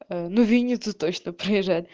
ну винница точно проезжает